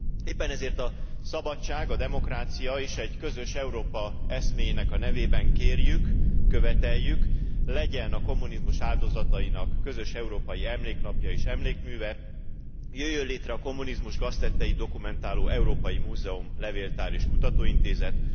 Éppen ezért a szabadság, a demokrácia és egy közös Európa eszméjének a nevében kérjük, követeljük, legyen a kommunizmus áldozatainak közös európai emléknapja és emlékműve, jöjjön létre a kommunizmus gaztetteit dokumentáló európai múzeum, levéltár és kutatóintézet.